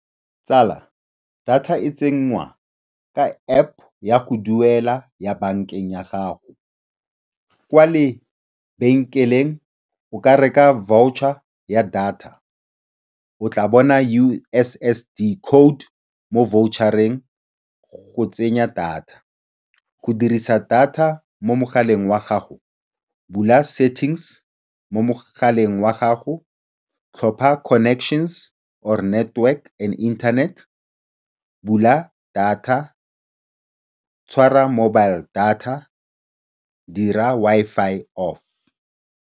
Tsala, data e tsenngwa ka App ya go duela ya bankeng ya gago. Kwa lebenkeleng o ka reka voucher ya data. O tla bona U_S_S_D code mo voucher-eng go tsenya data. Go dirisa data mo mogaleng wa gago, bula settings mo mogaleng wa gago, tlhopha connections or network and internet, bula data, tshwara mobile data, dira Wi-Fi off.